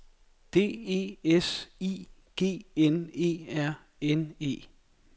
D E S I G N E R N E